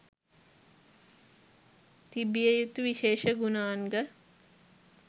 තිබිය යුතු විශේෂ ගුණාංග